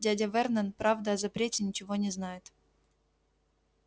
дядя вернон правда о запрете ничего не знает